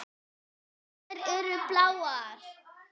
Þær eru bláar.